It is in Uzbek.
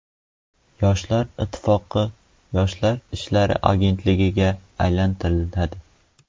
Yoshlar ittifoqi Yoshlar ishlari agentligiga aylantiriladi.